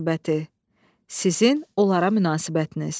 Sizin onlara münasibətiniz.